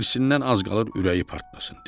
Hirsindən az qalırdı ürəyi partlasın.